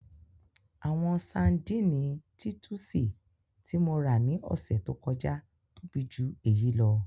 Àwọn Sárḍíńí Títùsí tí mo ra ni òṣẹ tó kọ̀jà tóbi jù èyí lọ.